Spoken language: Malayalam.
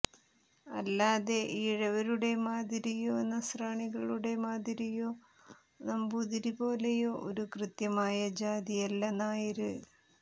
അല്ലാതെ ഈഴവരുടെ മാതിരിയോ നസ്രാണികളുടെ മാതിരിയോ നമ്പൂതിരി പോലെയോ ഒരു കൃത്യമായ ജാതി അല്ല നായര്